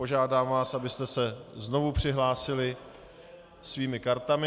Požádám vás, abyste se znovu přihlásili svými kartami.